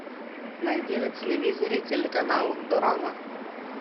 найди на телевизоре телеканал дорама